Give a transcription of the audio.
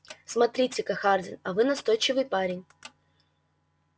смотрите-ка хардин а вы настойчивый парень